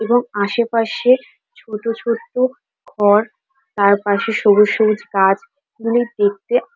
এবং আশেপাশের ছোট ছোট ঘর। তার পাশে সবুজ সবুজ গাছ। এগুলো দেখতে--